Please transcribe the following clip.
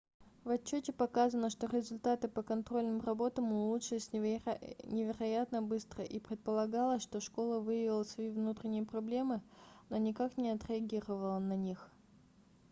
в отчёте показано что результаты по контрольным работам улучшились невероятно быстро и предполагалось что школа выявила свои внутренние проблемы но никак не отреагировала на них